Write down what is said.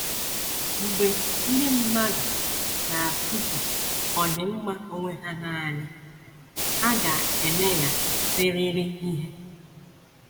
Mgbe ndị mmadụ na - achụso ọdịmma onwe ha nanị, ha ga - emeghasịrịrị ihe.